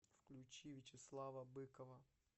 включи вячеслава быкова